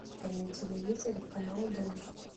на телевизоре канал дождь